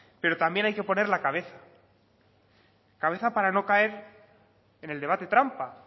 pero también hay que poner la cabeza cabeza para no caer en el debate trampa